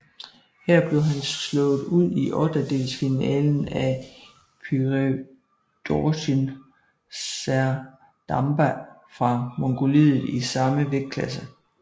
Her blev han slået ud i ottendelsfinalen af Pürevdorjiin Serdamba fra Mongoliet i samme vægtklasse